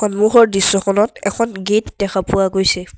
সন্মুখৰ দৃশ্যখনত এখন গেট দেখা পোৱা গৈছে।